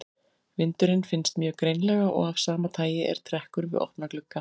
Vindurinn finnst mjög greinilega og af sama tagi er trekkur við opna glugga.